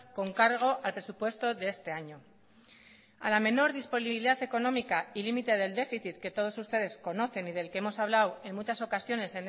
con cargo al presupuesto de este año a la menor disponibilidad económica y límite del déficit que todos ustedes conocen y del que hemos hablado en muchas ocasiones